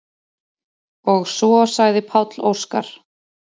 Og svo sagði Páll Óskar: